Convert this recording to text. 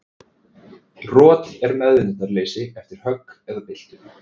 Rot er meðvitundarleysi eftir högg eða byltu.